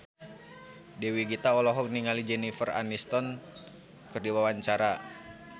Dewi Gita olohok ningali Jennifer Aniston keur diwawancara